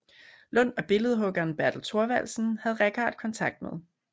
Lund og billedhuggeren Bertel Thorvaldsen havde Richardt kontakt med